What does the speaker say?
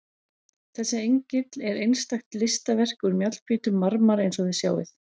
Þessi engill er einstakt listaverk úr mjallhvítum marmara eins og þið sjáið.